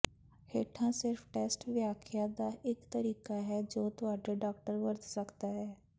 ਹੇਠਾਂ ਸਿਰਫ ਟੈਸਟ ਵਿਆਖਿਆ ਦਾ ਇੱਕ ਤਰੀਕਾ ਹੈ ਜੋ ਤੁਹਾਡਾ ਡਾਕਟਰ ਵਰਤ ਸਕਦਾ ਹੈ